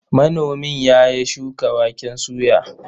Manomin ya ya shuka waken soya.